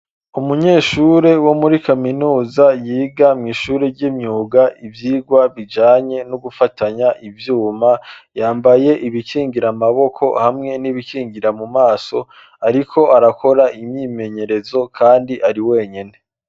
Umunyeshure wo muri kaminuza yiga mw’ishure ry'imyuga ivyigwa bijanye n’ugufatanya ivyuma, yambaye ibikingira amaboko hamwe n'ibikingira mu maso, ariko arakora imyimenyerezo kandi ari wenyene.